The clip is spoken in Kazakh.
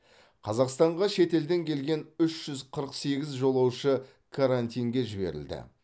қазақстанға шетелден келген үш жүз қырық сегіз жолаушы карантинге жіберілді